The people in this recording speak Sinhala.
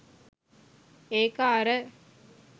ඒක අර